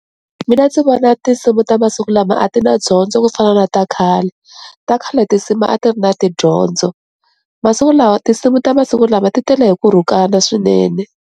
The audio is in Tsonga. Mina ndzi vona tinsimu ta masiku lama a ti na dyondzo ku fana na ta khale, ta khale tinsimu a ti ri na tidyondzo masiku lawa tinsimu ta masiku lama ti tela hi ku rhukana swinene.